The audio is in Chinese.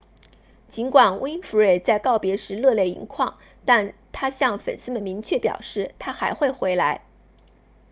尽管 winfrey 在告别时热泪盈眶但她向粉丝们明确表示她还会回来